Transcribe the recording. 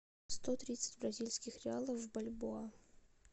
сто тридцать бразильских реалов в бальбоа